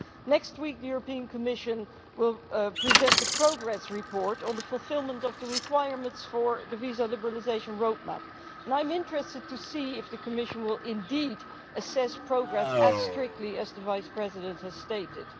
Next week, the European Commission will present a progress report on the fulfilment of the requirements for the visa liberalisation roadmap and I am interested to see if the Commission will indeed assess progress as strictly as the Vice President has stated.